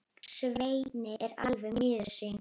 Svenni er alveg miður sín.